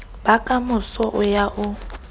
ba kamoso o ya o